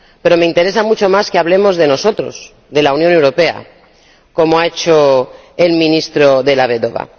Pero me interesa mucho más que hablemos de nosotros, de la Unión Europea, como ha hecho el ministro Della Vedova.